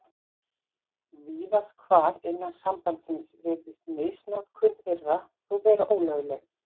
Víðast hvar innan sambandsins virðist misnotkun þeirra þó vera ólögleg.